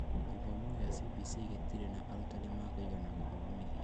Gĩthomo gĩa CBC gĩtirĩ na arutani ma kũigana gũthomithia